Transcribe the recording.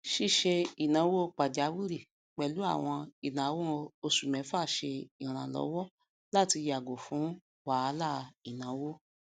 ṣíṣe ináwó pàjáwìrì pẹlú àwọn ináwó oṣù mẹfà ṣe ìrànlọwọ láti yàgò fún wahalà ìnáwó